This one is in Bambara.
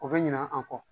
O bɛ ɲina an kɔ